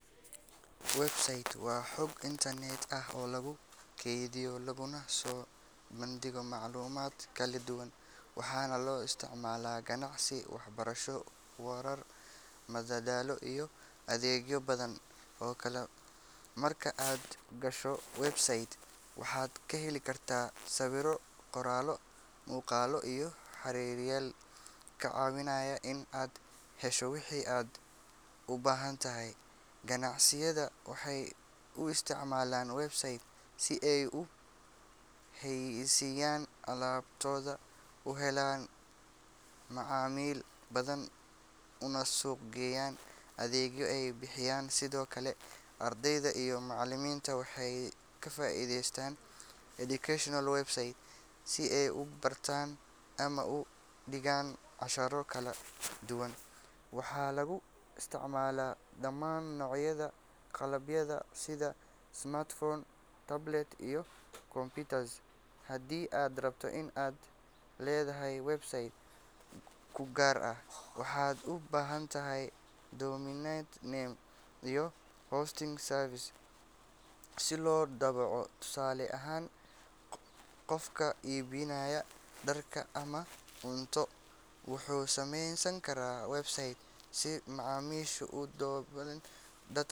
Website waa bog internet ah oo lagu kaydiyo laguna soo bandhigo macluumaad kala duwan, waxaana loo isticmaalaa ganacsi, waxbarasho, warar, madadaalo iyo adeegyo badan oo kale. Marka aad gasho website, waxaad ka heli kartaa sawirro, qoraallo, muuqaallo iyo xiriiriyeyaal kaa caawinaya in aad hesho wixii aad u baahantahay. Ganacsiyada waxay u isticmaalaan website si ay u xayeysiiyaan alaabtooda, u helaan macaamiil badan, una suuq geeyaan adeegyada ay bixiyaan. Sidoo kale, ardayda iyo macallimiinta waxay ka faa’iideystaan educational websites si ay u bartaan ama u dhigaan casharro kala duwan. Waxaa lagu isticmaalaa dhammaan noocyada qalabka sida smartphones, tablets, iyo computers. Haddii aad rabto in aad leedahay website kuu gaar ah, waxaad u baahan tahay domain name iyo hosting service si loo daabaco. Tusaale ahaan, qofka iibinaya dhar ama cunto wuxuu sameysan karaa website si macaamiisha u dalbadaan.